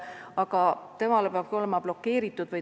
Suhtlus internetis peab olema blokeeritud.